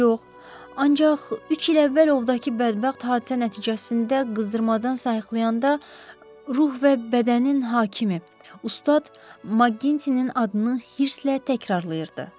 Ancaq üç il əvvəl ovdakı bədbəxt hadisə nəticəsində qızdırmadan sayıqlayanda, ruh və bədənin hakimi, ustad Maqgintinin adını hırslə təkrarlayırdı.